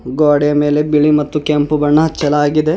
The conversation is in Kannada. ಗೋಡೆ ಮೇಲೆ ಬಿಳಿ ಮತ್ತು ಕೆಂಪು ಬಣ್ಣ ಹಚ್ಚಲಾಗಿದೆ.